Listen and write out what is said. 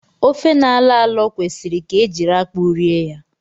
Ofe na-alọ alọ kwesịrị ka e jiri akpụ rie ya